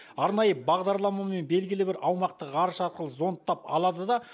арнайы бағдарламамен белгілі бір аумақты ғарыш арқылы зондтап алады да